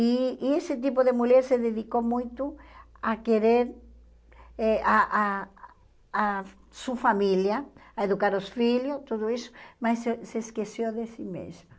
E e esse tipo de mulher se dedicou muito a querer eh a a a sua família, a educar os filhos, tudo isso, mas e se esqueceu de si mesma.